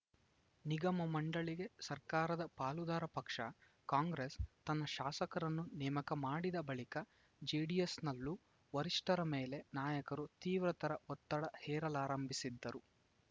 ನಿಗಮಮಂಡಳಿಗೆ ಸರ್ಕಾರದ ಪಾಲುದಾರ ಪಕ್ಷ ಕಾಂಗ್ರೆಸ್‌ ತನ್ನ ಶಾಸಕರನ್ನು ನೇಮಕ ಮಾಡಿದ ಬಳಿಕ ಜೆಡಿಎಸ್‌ನಲ್ಲೂ ವರಿಷ್ಠರ ಮೇಲೆ ನಾಯಕರು ತೀವ್ರತರ ಒತ್ತಡ ಹೇರಲಾರಂಭಿಸಿದ್ದರು